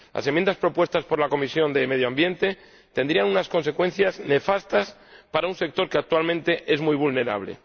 Las enmiendas propuestas por la Comisión de Medio Ambiente tendrían unas consecuencias nefastas para un sector que, actualmente, es muy vulnerable.